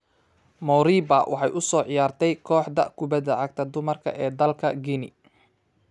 Moriba waxay u soo ciyaartay kooxda kubbada cagta dumarka ee dalka Guinea.